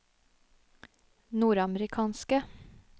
nordamerikanske